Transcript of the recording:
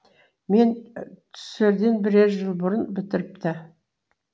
мен түсерден бірер жыл бұрын бітіріпті